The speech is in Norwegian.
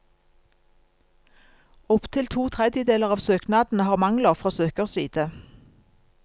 Opp til to tredjedeler av søknadene har mangler fra søkers side.